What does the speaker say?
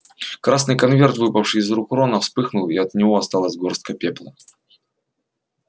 красный конверт выпавший из рук рона вспыхнул и от него осталась горстка пепла